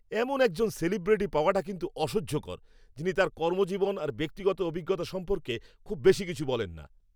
এমন একজন সেলিব্রিটি পাওয়াটা কিন্তু অসহ্যকর, যিনি তাঁর কর্মজীবন আর ব্যক্তিগত অভিজ্ঞতা সম্পর্কে খুব বেশি কিছু বলেন না।